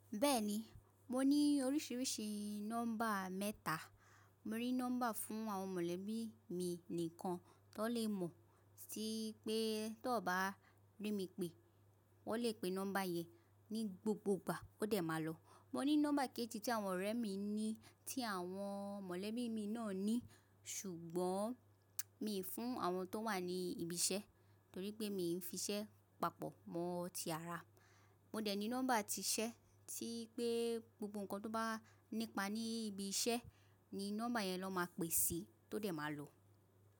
Bẹ́ẹ̀ni, mo ní oríṣiríṣi nọ́mbà mẹ́ta. Mo rí nọ́mbà fún àwọn mọ̀lẹ́bí mi nìkan tó lè mọ̀ sí pé tó bá rí mi pé wọ́n lè pe nọ́mbà yẹn ní gbogbogbà ó dẹ̀ máa lọ̀. Mo ní nọ́mbà kejì tí àwọn ọ̀rẹ́ mi ní tí àwọn mọ̀lẹ́bí mi náà ní ṣùgbọ́n mi ò fún àwọn tó wà ní ibi iṣẹ́ torí pé mi ò fi iṣẹ́ papọ̀ mọ́ ti ara. Mo dẹ̀ ní nọ́mbà ti iṣẹ́ tí pé gbogbo nǹkan tó bá nípa ní ibi iṣẹ́ ni nọ́mbà yẹn ló máa pè sí tó dẹ̀ máa lọ̀.